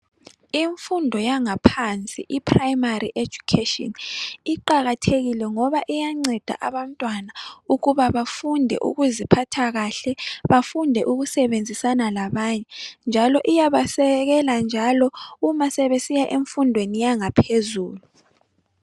Imfundo yangaphansi, i primary education iqakathekile ngoba iyanceda abantwana ukuba bafunde ukuziphatha kahle, bafunde ukusebenzisana labanye njalo iyabasekela njalo uma sebesiya emfundweni yangaphezulu